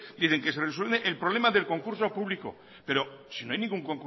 dicen que se resuelve el problema del concurso público pero si no hay ningún